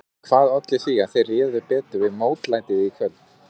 En hvað olli því að þeir réðu betur við mótlætið í kvöld?